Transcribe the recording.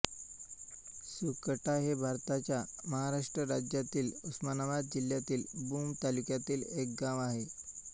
सुकटा हे भारताच्या महाराष्ट्र राज्यातील उस्मानाबाद जिल्ह्यातील भूम तालुक्यातील एक गाव आहे